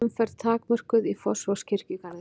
Bílaumferð takmörkuð í Fossvogskirkjugarði